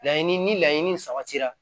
Laɲini ni laɲini sabatira